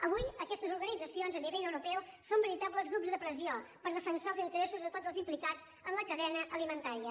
avui aquestes organitzacions a nivell europeu són veritables grups de pressió per defensar els interessos de tots els implicats en la cadena alimentària